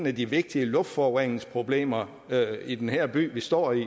af de vigtige luftforureningsproblemer i den her by vi står i